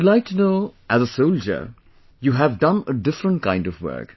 I would like to know as a soldier you have done a different kind of work